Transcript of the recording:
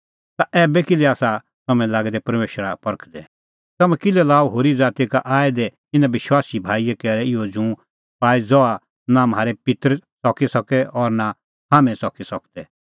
ता ऐबै किल्है आसा तम्हैं लागै दै परमेशरा परखदै तम्हैं किल्है लाअ होरी ज़ाती का आऐ दै इना विश्वासी भाईए कैल़ै इहअ जूँ पाई ज़हा नां म्हारै पित्तर च़की सकै और नां हाम्हैं च़की सकदै